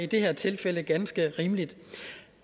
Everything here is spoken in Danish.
det her tilfælde ganske rimelig